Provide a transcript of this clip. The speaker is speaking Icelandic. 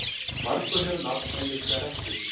Margur hefur nafn en litla rentu.